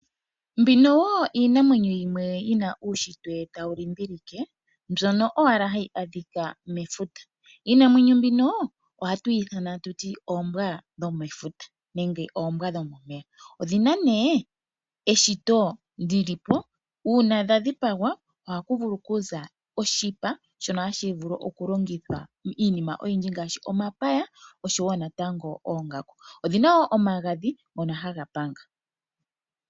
Mbino wo iinamwenyo yimwe yi na uushitwe tawu limbilike mbyono owala hayi adhika mefuta. Iinamwenyo mbino ohatu yi ithana nduno oombwa dhomefuta nenge oombwa dhomomeya. odhina nee eshito li li po. Uuna dha dhipagwa oha ku vulu okuza oshipa shono hashi vulu okulongithwa iinima oyindji ngaashi omapaya osho wo oongaku, odhina wo omagadhi ngono haga panga.